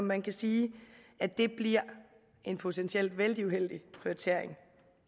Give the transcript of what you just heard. man sige giver en potentiel vældig uheldig prioritering